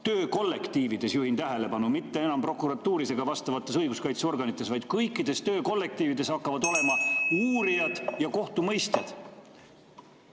Töökollektiivides, juhin tähelepanu – mitte enam prokuratuuris ega vastavates õiguskaitseorganites, vaid kõikides töökollektiivides –, hakkavad olema uurijad ja kohtumõistjad.